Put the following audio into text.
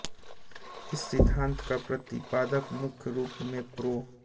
इस सिद्धान्त का प्रतिपादन मुख्य रूप में प्रो